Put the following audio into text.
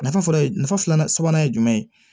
Nafa fɔlɔ nafa filanan sabanan ye jumɛn ye